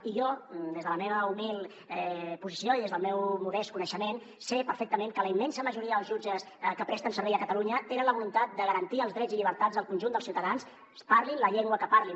i jo des de la meva humil posició i des del meu modest coneixement sé perfectament que la immensa majoria dels jutges que presten servei a catalunya tenen la voluntat de garantir els drets i llibertats del conjunt dels ciutadans parlin la llengua que parlin